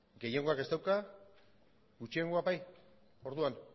gehiengoak ez dauka gutxiengoak bai orduan